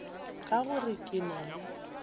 ka gore ke na le